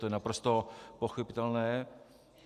To je naprosto pochopitelné.